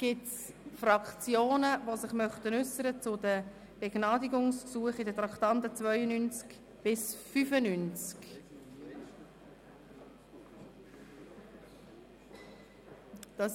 Gibt es Fraktionen, die sich zu den Begnadigungsgesuchen gemäss den Traktanden 92–95 äussern möchten?